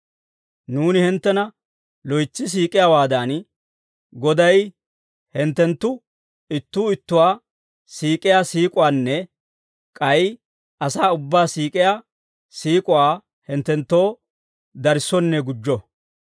Nuuni hinttena loytsi siik'iyaawaadan, Goday hinttenttu ittuu ittuwaa siik'iyaa siik'uwaanne k'ay asaa ubbaa siik'iyaa siik'uwaa hinttenttoo darissonne gujjo.